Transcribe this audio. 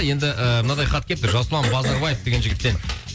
енді ыыы мынандай хат келіпті жасұлан базарбаев деген жігіттен